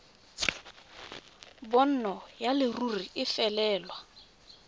bonno ya leruri e felelwe